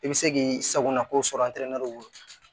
I bɛ se k'i sagona ko sɔrɔ